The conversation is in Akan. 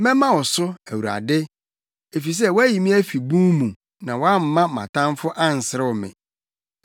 Mɛma wo so, Awurade, efisɛ, woayi me afi bun mu na woamma mʼatamfo anserew me.